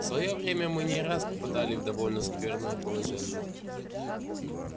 в своё время мы не раз попадали в довольно скверное положение